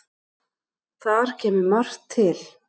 Þar kemur margt til.